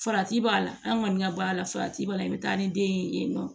Farati b'a la an kɔni ka b'a la farati b'a la i bɛ taa ni den ye yen nɔ